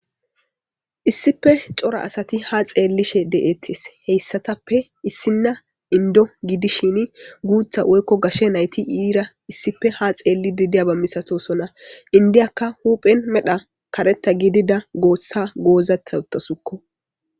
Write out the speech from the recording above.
issife cora asati ha xeellishe deettes heyssatappe issinna indo gidishin guutha woykko gashe nayti iira issife ha xeelli didiyaba misatosonna indiyakka huuphen medha karetta gidida goossa goozata uttasukko